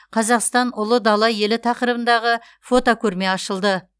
қазақстан ұлы дала елі тақырыбындағы фотокөрме ашылды